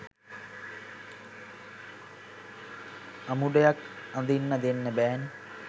අමුඩයක් අදින්න දෙන්න බෑනේ